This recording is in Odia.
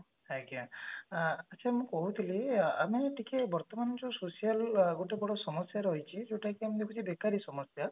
ଆଜ୍ଞା ଅ ଆଛା ମୁଁ କହୁଥିଲି ଅ ମାନେ ଟିକେ ବର୍ତମାନ ଜଓୟାଉ social ଗୋଟେ ବଡ ସମସ୍ଯା ରହିଛି ଯୋଉଟା କି ଆମେ କହୁଛେ ବେକାରି ସମସ୍ଯା